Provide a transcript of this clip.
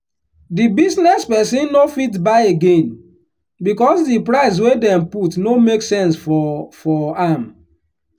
di business person no fit buy again because di price wey dem put no make sense for for am.